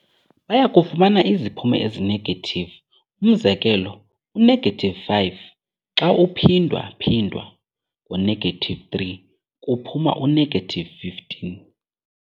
Bayakufumana iziphumo ezi-negative, umzekelo, u-negative 5 xa uphindwa-phindwa ngo-negative 3 kuphuma u-negative 15.